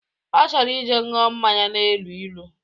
Ọ chọrọ ije ṅụọ mmanya na-elu ilu